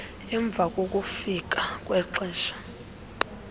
emva kokufika kwexesha